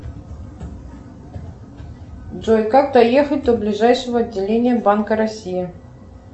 джой как доехать до ближайшего отделения банка россии